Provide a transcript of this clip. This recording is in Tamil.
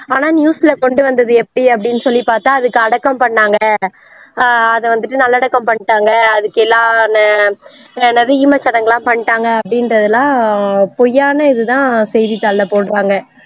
ஆனா news ல கொண்டு வந்தது எப்படி அப்படி சொல்லி பார்த்தா அதுக்கு அடக்கம் பண்ணாங்க ஆஹ் அதை வந்துட்டு நல்லடக்கம் பண்ணிட்டாங்க அதுக்கு எல்லாம் ந என்னது ஈமச்சடங்கெல்லாம் பண்ணிட்டாங்க அப்படின்றதெல்லாம் பொய்யான இது தான் செய்தித்தாள்ல போடுறாங்க